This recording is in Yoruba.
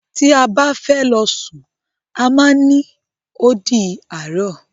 Ti a ba ti fẹ lọ sun a má ni "O di àárọ̀".